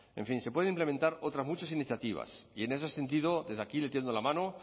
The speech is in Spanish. en fin se pueden implementar otras muchas iniciativas y en ese sentido desde aquí le tiendo la mano